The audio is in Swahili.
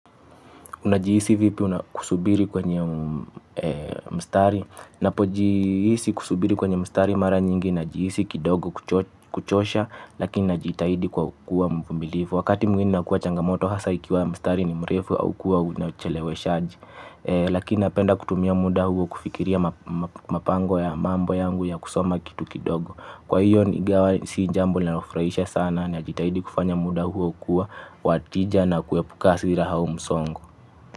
Unajiisi vipi unakusubiri kwenye mstari. Napojihisi kusubiri kwenye mstari mara nyingi najihisi kidogo kuchosha lakini najitahidi kwa kuwa mvumilivu wakati mwingine inakua changamoto hasa ikiwa mstari ni mrefu au kuwa unacheleweshaji. Lakini napenda kutumia muda huo kufikiria mapango ya mambo yangu ya kusoma kitu kidogo. Kwa hiyo nigawa si jambo linalo furahisha sana najitahidi kufanya muda huo kuwa watija na kuepuka hasira hau msongo.